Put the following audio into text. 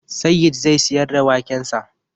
Sayyid zai siyar da wakensa